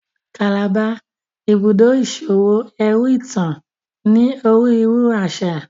Calabar, Ibùdó iṣowo ẹru itan, ní onírúurú aṣa